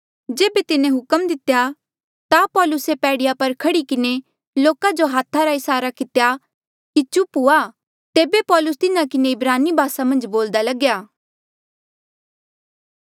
जेबे तिन्हें हुक्म दितेया ता पौलुसे पैड़ीया पर खह्ड़ी किन्हें लोका जो हाथा रा इसारा कितेया की चुप हुआ तेबे पौलुस तिन्हा किन्हें इब्रानी भासा मन्झ बोल्दा लग्या